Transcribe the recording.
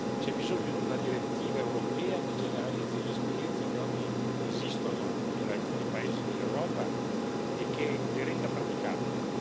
C'è bisogno di una direttiva europea che generalizzi le esperienze che oggi esistono in alcuni paesi dell'Europa e che le renda praticabili.